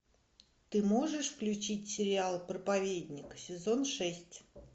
ты можешь включить сериал проповедник сезон шесть